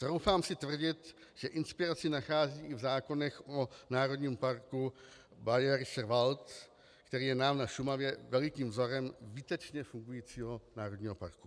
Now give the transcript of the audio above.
Troufám si tvrdit, že inspiraci nachází i v zákonech o Národním parku Bayerischer Wald, který je nám na Šumavě velikým vzorem výtečně fungujícího národního parku.